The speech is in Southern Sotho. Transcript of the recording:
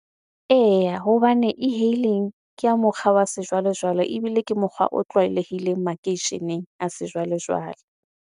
Eya, hobane e-hailing ke ya mokgwa wa sejwalejwale ebile ke mokgwa o tlwaelehileng makeisheneng a sejwalejwale.